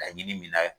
Laɲini min na